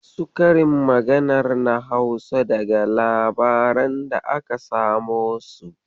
Wasu karin maganar na Hausa daga labaran da aka samo su.